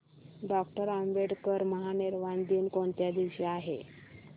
doctor Ambedkar महापरिनिर्वाण दिन कोणत्या दिवशी आहे